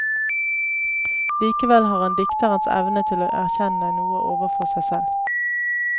Likevel har han dikterens evne til erkjenne noe overfor seg selv.